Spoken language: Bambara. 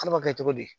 Ala b'a kɛ cogo di